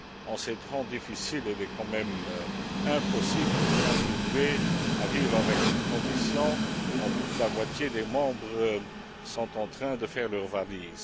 En ces temps difficiles, il est quand même impossible de continuer à vivre avec une Commission dont plus de la moitié des membres sont en train de faire leurs valises.